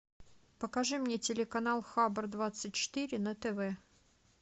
покажи мне телеканал хабар двадцать четыре на тв